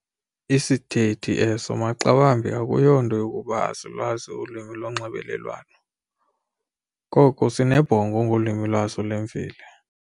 Isithethi eso maxawambi akuyonto yokuba asilwazi ulwimi lonxibelelwano, koko sinebhongo ngolwimi lwaso lwemveli.